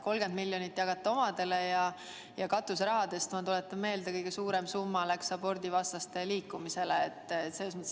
30 miljonit te jagate omadele ja katuserahadest, ma tuletan meelde, kõige suurem summa läks abordivastaste liikumisele.